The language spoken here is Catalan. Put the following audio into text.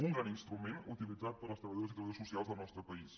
un gran instrument utilitzat per les treballadores i treballadors socials del nostre país